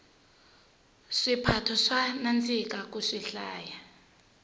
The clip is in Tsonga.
swiphato swa nandzika ku swihlaya